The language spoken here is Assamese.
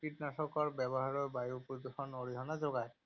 কীটনাশকৰ ব্যৱহাৰেও বায়ু প্ৰদূষণত অৰিহণা যোগায়।